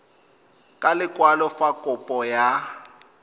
ka lekwalo fa kopo ya